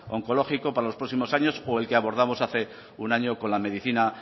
oncológico para los próximos años o el que abordamos hace un año con la medicina